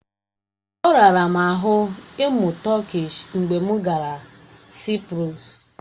Ọ rara m ahụ ịmụ Tọkish mgbe m gara Saịprọs.